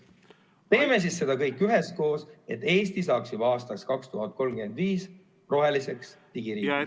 Teeme seda kõik üheskoos, et Eesti saaks juba aastaks 2035 roheliseks digiriigiks!